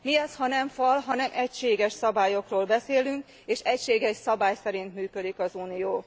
Mi ez, ha nem fal, ha nem egységes szabályokról beszélünk, és nem egységes szabály szerint működik az Unió?